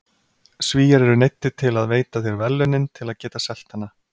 Svíar eru neyddir til að veita þér verðlaunin til að geta selt hana.